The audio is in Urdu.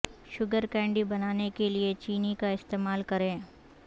شوگر کینڈی بنانے کے لئے چینی کا استعمال کریں